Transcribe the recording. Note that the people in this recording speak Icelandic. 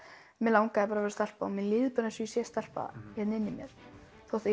mig langaði bara að vera stelpa og mér líður bara eins og ég sé stelpa hérna inni í mér þótt ég